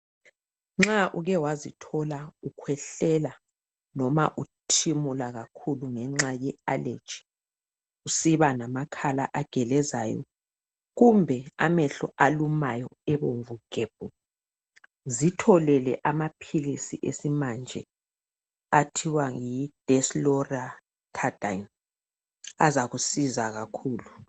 nxa uke wazithola ukhwehlela noma uthimula kakhulu ngenxa ye allergy usiba lamakhala agelezayo kumbe amehlo alumayo abomvu gebhu zitholele amaphilisi esimanje athiwa yi Desiloratadine azakusiza kakhulu